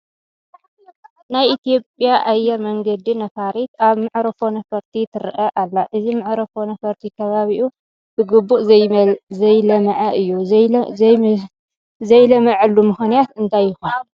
ናይ ኢትዮጵያ ኣየር መንገድ ነፋሪት ኣብ መዕርፎ ነፈርቲ ትርአ ኣላ፡፡ እዚ መዕርፎ ነፈርቲ ካባቢኡ ብግቡእ ዘይለምዐ እዩ፡፡ ዘይለምዐሉ ምኽንያት እንታይ ይኾን?